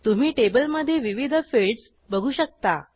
तुम्ही टेबलमधे विविध फिल्डस बघू शकता